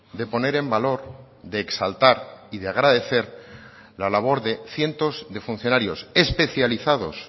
de poner en valor de exaltar y de agradecer la labor de cientos de funcionarios especializados